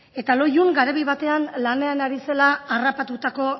eta loiun garabi batean lanean ari zela harrapatutako